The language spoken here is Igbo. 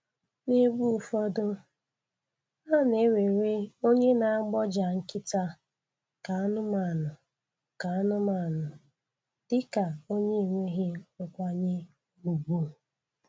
N'ebe ụfọdụ, a na-ewere onye na-agbọja nkịta ka anụmanụ ka anụmanụ dịka onye enweghị nkwanye ùgwu